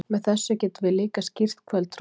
með þessu getum við líka skýrt kvöldroðann